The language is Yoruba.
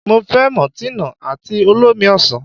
Mo fẹ́ mọ̀tínà àti olómi ọsàn.